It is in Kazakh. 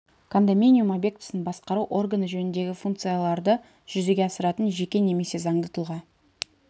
кондоминиум объектісін басқару органы жөніндегі функцияларды жүзеге асыратын жеке немесе заңды тұлға